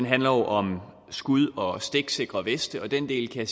handler om skud og stiksikre veste og den del kan